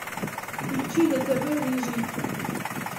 включи на тв рыжий